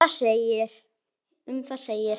Um það segir: